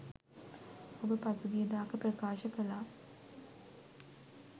ඔබ පසුගියදාක ප්‍රකාශ කළා